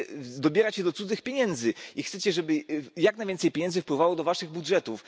Chcecie dobierać się do cudzych pieniędzy i chcecie, żeby jak najwięcej pieniędzy wpływało do waszych budżetów.